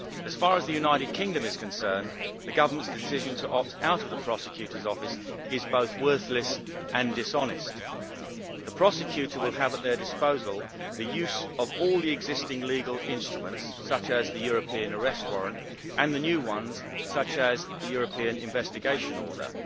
As far as the United Kingdom is concerned, the Government's decision to opt out of the Public Prosecutor's Office is both worthless and dishonest. The Prosecutorʼs Office will have at their disposal the use of all the existing legal instruments, such as the European Arrest Warrant, and the new ones, such as the European Investigation Order.